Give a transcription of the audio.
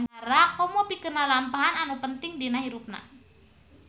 Komo pikeun lalampahan anu penting dina hirupna.